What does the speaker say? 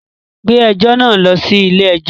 Gbé ẹjọ́ náà lọ sí ilé-ẹjọ́!